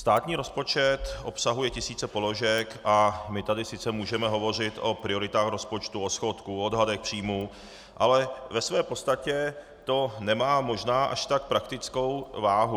Státní rozpočet obsahuje tisíce položek a my tady sice můžeme hovořit o prioritách rozpočtu, o schodku, o odhadech příjmů, ale ve své podstatě to nemá možná až tak praktickou váhu.